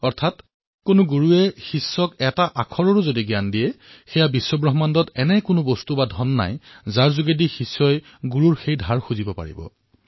অৰ্থাৎ কোনো গুৰুৱে শিষ্যক এটা আখৰৰ জ্ঞান প্ৰদান কৰিলেও সমগ্ৰ পৃথিৱীতে এনেকুৱা কোনো বস্তু অথবা ধন নাই যাৰ দ্বাৰা শিষ্যই নিজৰ গুৰুৰ ঋণ পৰিশোধ কৰিব পাৰিব